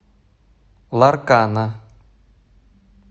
ларкана